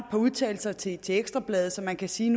par udtalelser til til ekstra bladet så man kan sige